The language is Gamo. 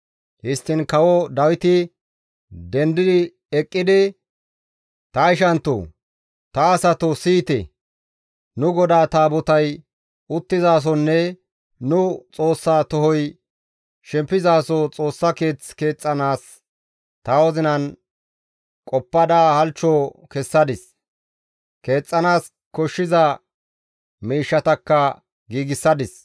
Histtiin kawo Dawiti dendi eqqidi, «Ta ishanttoo, ta asatoo, siyite! Nu GODAA Taabotay uttizasonne nu Xoossaa tohoy shempizaso Xoossa keeth keexxanaas ta wozinan qoppada halchcho kessadis; keexxanaas koshshiza miishshatakka giigsadis.